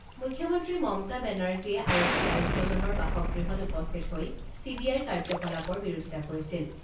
মুখ্যমন্ত্ৰী মমতা বেনাৰ্জীয়ে আৰক্ষী আয়ুক্তজনৰ বাসগৃহত উপস্থিত হৈ চি বি আইৰ কাৰ্যকলাপৰ বিৰোধিতা কৰিছিল।